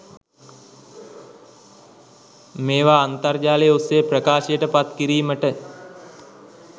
මේවා අන්තර්ජාලය ඔස්සේ ප්‍රකාශයට පත් කිරීමට